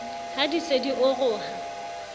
ha di se di oroha